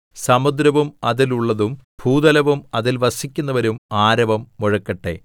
സമുദ്രവും അതിലുള്ളതും ഭൂതലവും അതിൽ വസിക്കുന്നവരും ആരവം മുഴക്കട്ടെ